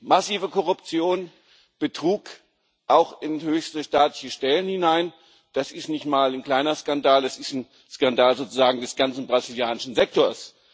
Massive Korruption, Betrug, auch in höchste staatliche Stellen hinein das ist nicht mal ein kleiner Skandal, das ist ein Skandal sozusagen des ganzen brasilianischen Sektors.